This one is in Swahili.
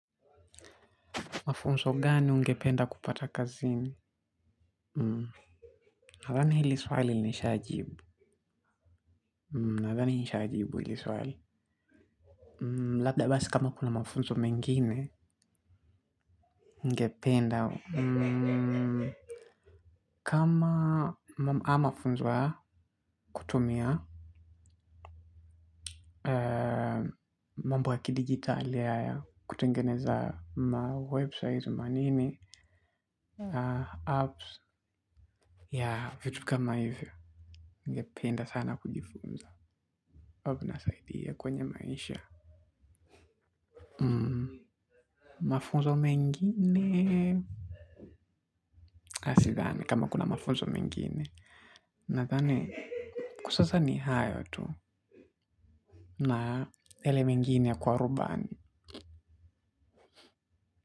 Mafunzo gani ungependa kupata kazini? Nadhani hili swali nilinishajibu. Nadhani hili swali. Labda basi kama kuna mafunzo mengine, ungependa. Kama mama ama funzo ya, kutumia, mambo ya kidigitali haya kutengeneza mawebsite manini, apps, yaa, vitu kama hivyo. Ningependa sana kujifunza. Huwa inasaidia kwenye maisha. Mafunzo mengine aah sidhani kama kuna mafunzo mengine. Nathani kwa sasa ni hayo tu. Na yale mengine ya kuwa rubani.